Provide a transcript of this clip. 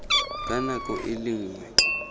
ka nako e le nngwe